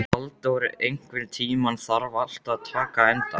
Valdór, einhvern tímann þarf allt að taka enda.